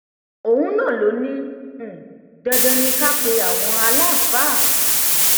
òun náà ló ní um dandan ni ká pe àwọn aláàfáà